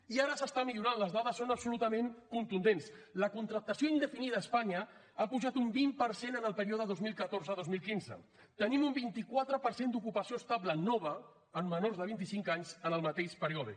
i ara s’està millorant les dades són absolutament contundents la contractació indefinida a espanya ha pujat un vint per cent en el període dos mil catorze dos mil quinze tenim un vint quatre per cent d’ocupació estable nova en menors de vint i cinc anys en el mateix període